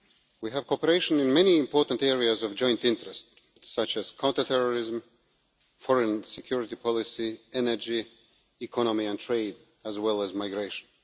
We cooperate in many important areas of joint interest, such as counter-terrorism, foreign and security policy, energy, the economy and trade, as well as migration.